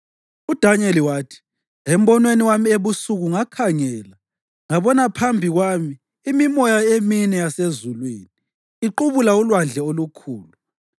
UDanyeli wathi: “Embonweni wami ebusuku ngakhangela ngabona phambi kwami imimoya emine yasezulwini iqubula ulwandle olukhulu.